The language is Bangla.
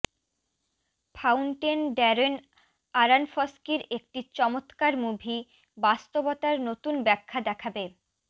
ফাউন্টেন ড্যারেন আরানফস্কির একটি চমত্কার মুভি বাস্তবতার নতুন ব্যাখ্যা দেখাবে